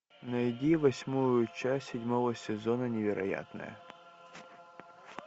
найди восьмую часть седьмого сезона невероятное